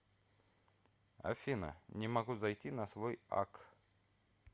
афина не могу зайти на свой акк